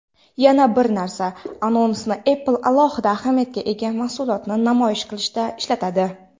"Yana bir narsa" anonsini Apple alohida ahamiyatga ega mahsulotni namoyish qilishda ishlatadi.